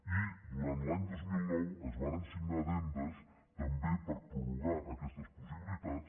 i durant l’any dos mil nou es varen signar addendes també per prorrogar aquestes possibilitats